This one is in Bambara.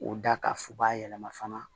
O da ka fu b'a yɛlɛma